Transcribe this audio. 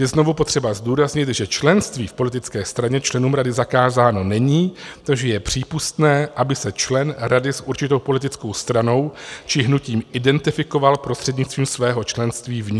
Je znovu potřeba zdůraznit, že členství v politické straně členům Rady zakázáno není, takže je přípustné, aby se člen rady s určitou politickou stranou či hnutím identifikoval prostřednictvím svého členství v ní.